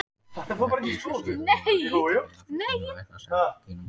Rétt eins og ef sölumaður kæmi héðan frá Kína og ætlaði að selja okkur Kínamúrinn.